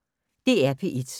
DR P1